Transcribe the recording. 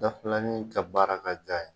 Da filanin ka baara ka ji a ye.